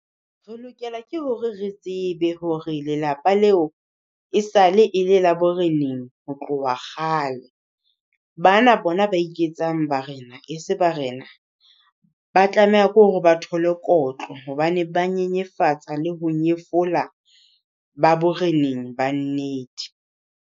Re lokela ke hore re tsebe hore lelapa leo esale e le le bo re neng ho tloha kgale. Bana bona ba iketsang barena e se barena. Ba tlameha ko hore ba thole kotlo hobane ba nyenyefatsa le ho nyefola ba boreneng ba nnete.